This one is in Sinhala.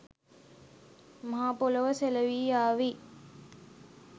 මහාපොළොව සෙලවී යාවි.